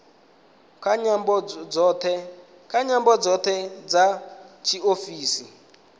nga nyambo dzoṱhe dza tshiofisi